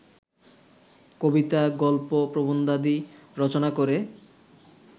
কবিতা, গল্প, প্রবন্ধাদি রচনা করে